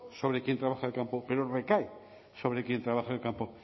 sobre quien trabaja de campo pero recae sobre quien trabaja el campo